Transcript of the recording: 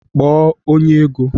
Kpọọ onye ego